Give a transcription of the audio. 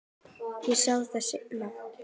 Ég sá það seinna.